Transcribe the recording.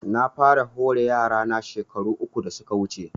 Na fara hore yara na shekaru uku da suka wuce